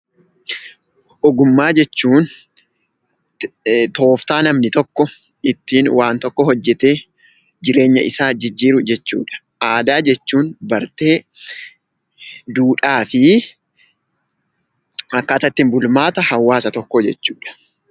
Ogummaa jechuun tooftaa namni tokko ittiin waan tokko hojjetee jireenya isaa jijjiiru jechuu dha. Aadaa jechuun bartee, duudhaa fi akkaataa ittiin bulmaata hawaasa tokkoo jechuu dha.